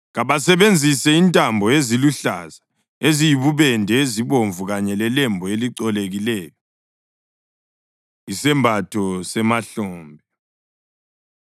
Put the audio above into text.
Kabasebenzise intambo eziluhlaza, eziyibubende, ezibomvu kanye lelembu elicolekileyo.” Isembatho Semahlombe